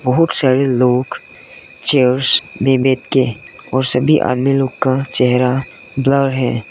बहुत सारे लोग चेयर्स में बैठ के और सभी अन्य लोग का चेहरा ब्लर है।